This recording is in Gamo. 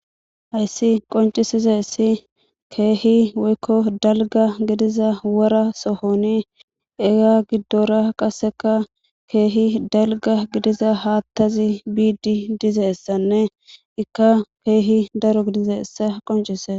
hayssi qoncisize ssi keehi woykko dalga gidiza wora sohoni ega giddora qasseka keehi dalga gidiza haattazi biiddi dizessanne ikka keehi daro gidize ssa qoncise